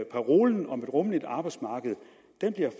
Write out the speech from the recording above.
parolen om et rummeligt arbejdsmarked